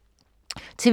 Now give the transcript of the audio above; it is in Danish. TV 2